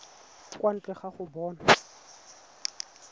kwa ntle ga go bona